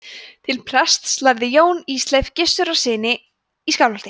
til prests lærði jón hjá ísleifi gissurarsyni í skálholti